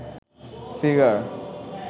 figure